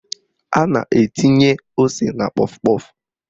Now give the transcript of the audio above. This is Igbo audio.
A na-etinye ose na kpọf kpọf